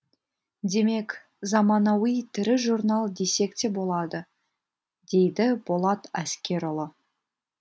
демек заманауи тірі журнал десек те болады дейді болат әскерұлы